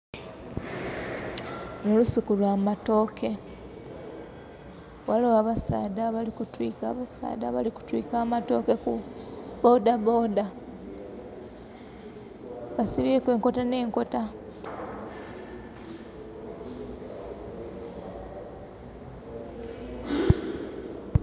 Lunho lusuku lwamatooke ghaligho abasaadha abali kutwika amatooke ku bodaboda basibyeku enkota nh'enkota.